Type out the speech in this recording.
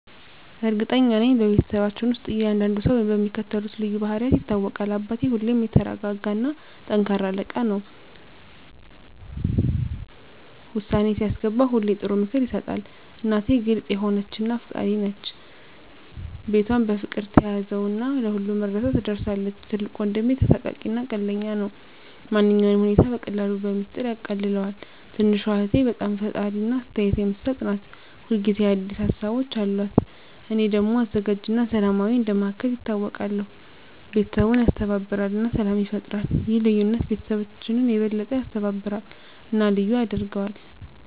እርግጠኛ ነኝ፤ በቤተሰባችን ውስጥ እያንዳንዱ ሰው በሚከተሉት ልዩ ባህሪያት ይታወቃል - አባቴ በጣም የተረጋ እና ጠንካራ አለቃ ነው። ውሳኔ ሲያስገባ ሁሌ ጥሩ ምክር ይሰጣል። እናቴ ግልጽ የሆነች እና አፍቃሪች ናት። ቤቷን በፍቅር ትያዘው እና ለሁሉም እርዳታ ትደርሳለች። ትልቁ ወንድሜ ተሳሳቂ እና ቀልደኛ ነው። ማንኛውንም ሁኔታ በቀላሉ በሚስጥር ያቃልለዋል። ትንሹ እህቴ በጣም ፈጣሪ እና አስተያየት የምትሰጥ ናት። ሁል ጊዜ አዲስ ሀሳቦች አሉት። እኔ ደግሞ አዘጋጅ እና ሰላማዊ እንደ መሃከል ይታወቃለሁ። ቤተሰቡን ያስተባብራል እና ሰላም ይፈጥራል። ይህ ልዩነት ቤተሰባችንን የበለጠ ያስተባብራል እና ልዩ ያደርገዋል።